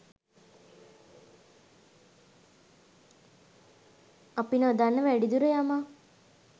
අප නොදන්න ‍වැඩිදුර යමක්